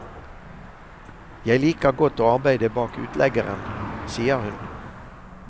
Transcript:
Jeg liker godt å arbeide bak utleggeren, sier hun.